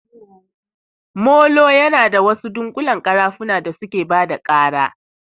Molo yana da wasu dunƙullen ƙarafuna da suke bada ƙara